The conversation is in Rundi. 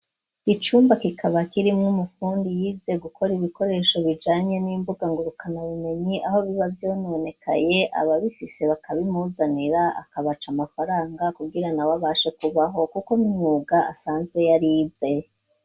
Icumba kikaba kirimw' umukundi yize gukora ibikoresho bijanye n'imbuga ngo rukana bumenyi aho biba byononekaye aba bifise bakabimuzanira akabaca amafaranga kubwirana wabashe kubaho kuko n'imwuga asanzwe yari yize.